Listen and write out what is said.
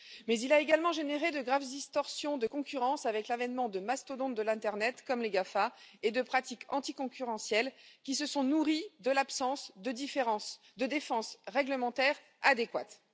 Mais il a également généré de graves distorsions de concurrence avec l'avènement de mastodontes de l'internet comme les GAFA et de pratiques anticoncurrentielles, qui se sont nourries de l'absence de défenses réglementaires adéquates.